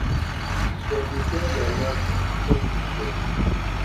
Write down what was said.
dem dey sell their yam for makurdi market.